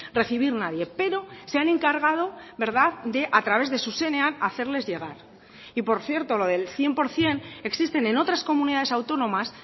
recibir nadie pero se han encargado a través de zuzenean hacerles llegar y por cierto lo del cien por ciento existen en otras comunidades autónomas